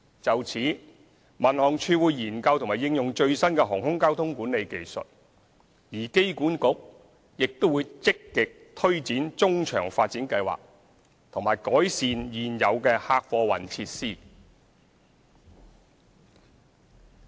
就此，民航處會研究和應用最新的航空交通管理技術，而機管局亦會積極推展中場發展計劃和改善現有的客貨運設施。